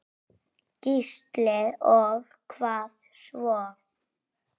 Gísli: Og hvað svo?